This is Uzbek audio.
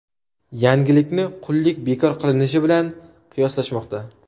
Yangilikni qullik bekor qilinishi bilan qiyoslashmoqda.